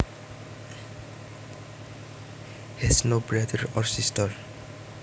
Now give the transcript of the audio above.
has no brothers or sisters